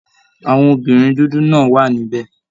Àwọn obìnrin dúdú náà wà níbẹ̀